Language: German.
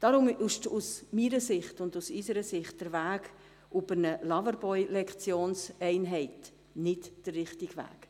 Deswegen ist aus meiner und aus unserer Sicht der Weg über eine Loverboy-Lektionseinheit nicht der richtige Weg.